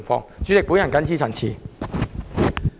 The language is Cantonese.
代理主席，我謹此陳辭。